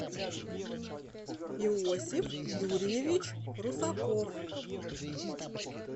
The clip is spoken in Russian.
иосиф юрьевич русаков